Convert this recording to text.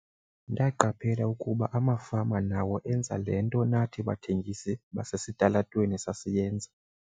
"Ndaqaphela ukuba amafama nawo enza le nto nathi bathengisi basesitalatweni sasiyenza."